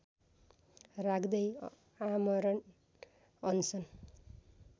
राख्दै आमरण अनसन